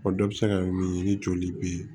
O dɔ bɛ se ka kɛ min ye ni joli bɛ yen